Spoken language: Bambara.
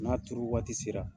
N'a turu waati sera